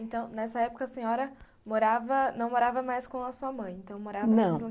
Então, nessa época, a senhora morava, não morava mais com a sua mãe, então morava, não.